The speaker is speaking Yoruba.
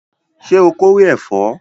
Ṣé o kórè ẹ̀fọ́?